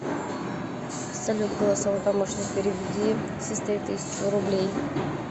салют голосовой помощник переведи сестре тысячу рублей